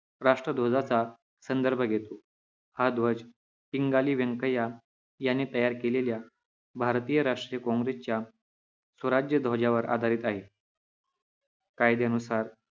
राष्ट्रध्वजाचा संदर्भ घेतो हा ध्वज पिंगाली वेंकय्या यांनी तयार केलेल्या भारतीय राष्ट्रीय काँग्रेसच्या स्वराज्य ध्वजावर आधारीत आहे कायद्यानुसार